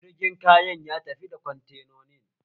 Jirgin kayan ya tafi kwantenonin